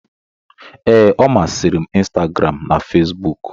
Ee, ọ masịrị m Instagram na Facebook